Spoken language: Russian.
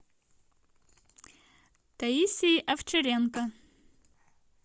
таисией овчаренко